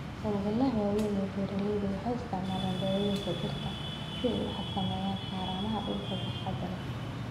Hawlgallada waaweyn ee beeralaydu waxay isticmaalaan dawooyinka dhirta si ay u xakameeyaan haramaha dhulka baaxadda leh.